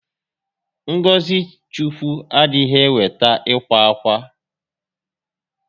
Ngọzị Chukwu adịghị eweta ịkwa ákwà